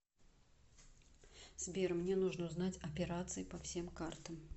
сбер мне нужно узнать операции по всем картам